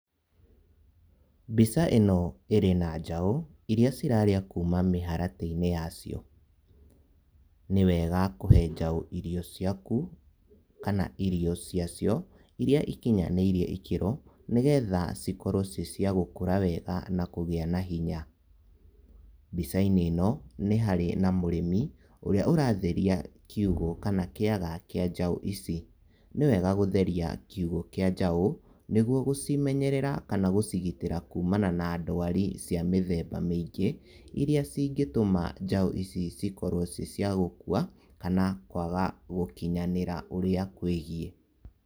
Mbica ĩno ĩrĩ na njaũ iria irarĩa kuma mĩharatĩ-inĩ yacio. Nĩwega kũhe njaũ irio ciaku kana irio ciacio, iria ikinyanĩirie ikĩro nĩ getha cikorwo ciĩ cia gũkũra wega na kũgĩa na hinya. Mbica-inĩ ĩno nĩ harĩ na mũrĩmi ũrĩa ũratheria kiugũ kana kĩaga kĩa njaũ ici. Nĩ wega gũtheria kiugũ kĩa njaũ nĩguo gũcimenyerera na kũcigitĩra kumana na dwari cia mĩthemba mĩingĩ iria cingĩtũma njaũ ici cikorwo ciĩ cia gũkua kana kwaga gũkinyanĩra ũrĩa kwĩgiĩ.